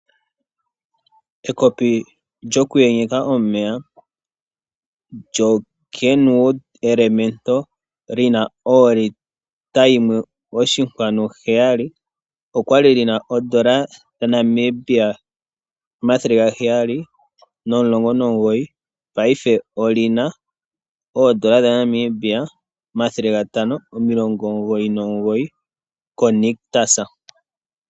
Ekopi lyokuyenyeka omeya lyoKenwood Elementa lina olita yimwe oshinkwanu heyali okwali lina oondola dhaNamibia omathele gaheyali nomulongo nomugoyi paife olina oondola dhaNamibia omathele gatano omilongo omugoyi nomugoyi ko Nictus.